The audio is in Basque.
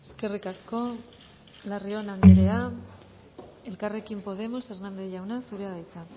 eskerrik asko larrion anderea elkarrekin podemos hernández jauna zurea da hitza